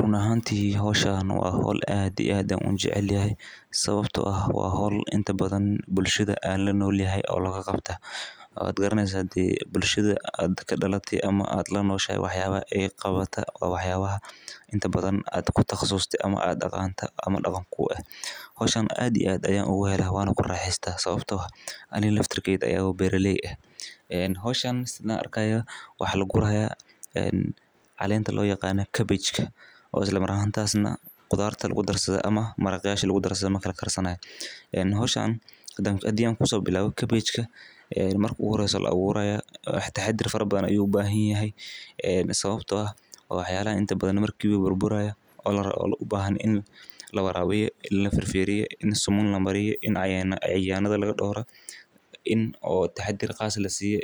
Run ahanti hosha waa hol aad ito aad an u jecelahay sawabto ah waa hol bulshaada an lanolahay hoshan aad iyo aad ayan ogq hele maxaa yele aniga aya beera ley ah sawabto ah marki la aburo in taxadar qas aah lasiyo